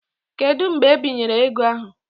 Kedu mgbe ebinyere ego ahụ?